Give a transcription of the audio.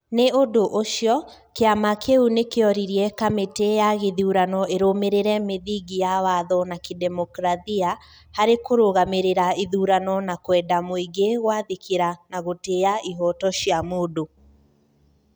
.Nĩ ũndũ ũcio, kĩama kĩu nĩ kĩoririe kamĩtĩ ya gĩthurano ĩrũmĩrĩre mĩthingi ya watho na kĩdemokirathia harĩ kũrũgamĩrĩra ithurano na kwenda mũingĩ gwathĩkĩra na gũtĩa ihoto cia mũndũ